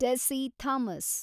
Tessy Thomas